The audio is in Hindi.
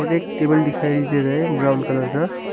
मुझे एक टेबल दिखाई दे रहा है ब्राउन कलर का।